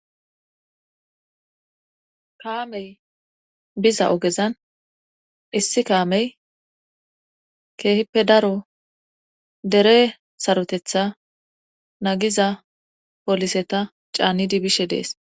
kaamey biza ogezan issi kaamey keehippe daro dere sarotetha nagiza poliseta caannidi bishe dees